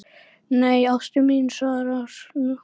Nei, ástin mín, svarar hún.